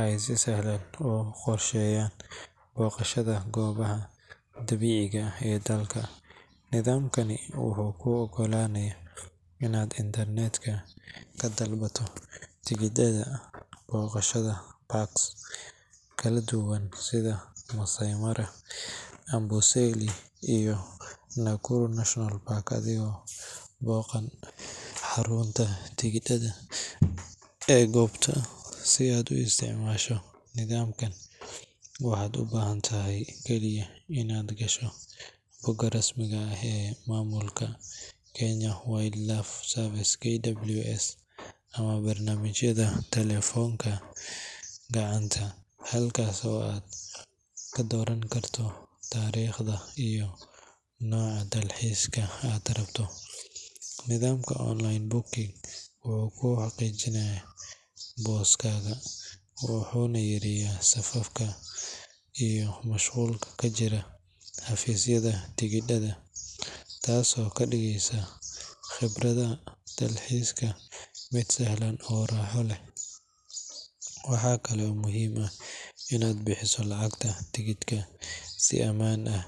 ay si sahlan u qorsheeyaan booqashada goobaha dabiiciga ah ee dalka. Nidaamkani wuxuu kuu oggolaanayaa in aad internet-ka ka dalbato tigidhada booqashada parks kala duwan, sida Maasai Mara, Amboseli, iyo Nakuru National Park, adigoon booqan xarunta tigidhada ee goobta. Si aad u isticmaasho nidaamkan, waxaad u baahan tahay kaliya inaad gasho bogga rasmiga ah ee maamulka Kenya Wildlife Service (KWS) ama barnaamijyada taleefannada gacanta, halkaas oo aad ka dooran karto taariikhda iyo nooca dalxiiska aad rabto. Nidaamka online booking wuxuu kuu xaqiijiyaa booskaaga, wuxuuna yareeyaa safafka iyo mashquulka ka jira xafiisyada tigidhada, taasoo ka dhigaysa khibrada dalxiiska mid sahlan oo raaxo leh. Waxaa kaloo muhiim ah in aad bixiso lacagta tigidhka si ammaan ah.